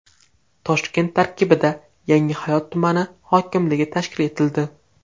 Toshkent tarkibida Yangihayot tumani hokimligi tashkil etildi.